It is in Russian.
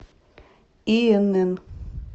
инн